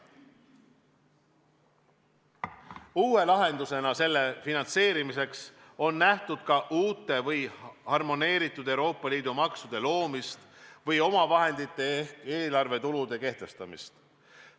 Uue lahendusena selle finantseerimiseks on nähtud ka uute või harmoneeritud Euroopa Liidu maksude loomist või omavahendite ehk eelarvetulude kehtestamist.